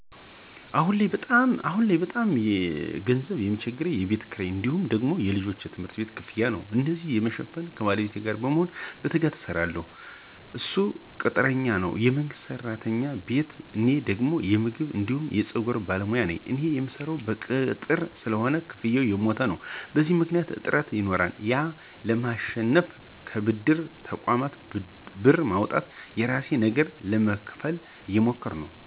አሁን ላይ በጣም ገንዘብ ሚቸግረኝ የቤት ክራይ እንዲሁም ደግሞ ለልጄ የትምህርት ቤት ክፍያ ነው። እነዚን ለመሸፈን ከባለቤቴ ጋር በመሆን በትጋት እንሰራለን እሱ ቅጥረኛ ነው የመንግስት ቤት እኔ ደግሞ የምግብ አንዲሁም የፀጉር ባለሞያ ነኝ። እኔ ምሰራው በቅጥር ስለሆነ ክፍያው የሞተ ነው። በዚህ ምክኒያት እጥረት ይኖራል ያን ለማሸነፍ ከብድር ተቆማት ብር በማውጣት የራሴን ነገር ለመክፈት እየሞከርን ነው።